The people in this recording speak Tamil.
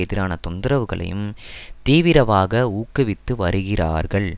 எதிரான தொந்தரவுகளையும் தீவிரவாக ஊக்குவித்து வருகிறார்கள்